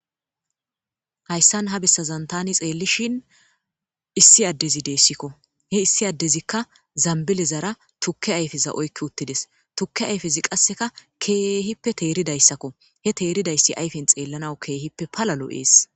hayssan ha bessazan tani xeellishin issi addezi deessikko he issi addezikka zambilezara tukke ayfeza oykki uttides tukke ayfezi qasseka keehippe teeridayssakko he teeridayssi ayfen xeellanaw keehippe palalo ees